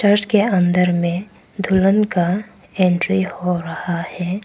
के अंदर में दुल्हन का एंट्री हो रहा है।